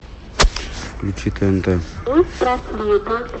включи тнт